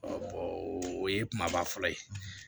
o ye kumaba fɔlɔ ye